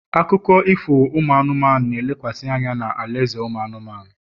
akụkọ ifo anụmanụ, na-elekwasị anya na alaeze anụmanụ